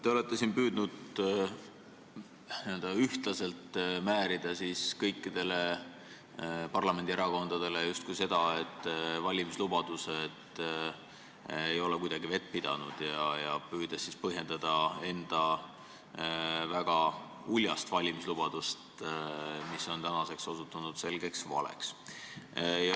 Te olete püüdnud n-ö ühtlaselt määrida kõikidele parlamendierakondadele kaela justkui seda, et valimislubadused ei ole kuidagi vett pidanud, ja püüdnud põhjendada enda väga uljast valimislubadust, mis on tänaseks osutunud selgeks valeks.